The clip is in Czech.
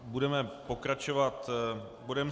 Budeme pokračovat bodem